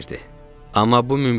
Amma bu mümkün deyildi.